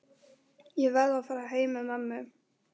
Ég verð að fara heim með mömmu.